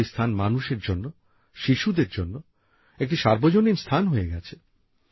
আজ ওই স্থান মানুষের জন্য শিশুদের জন্য একটি সার্বজনীন স্থান হয়ে গেছে